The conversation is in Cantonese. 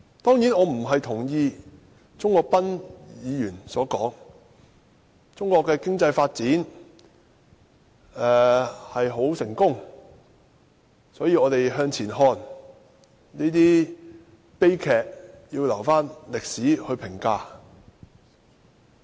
當然，我並不認同鍾國斌議員所言：中國的經濟發展很成功，所以我們要向前看，這些悲劇要留待歷史評價。